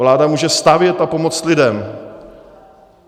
Vláda může stavět a pomoct lidem.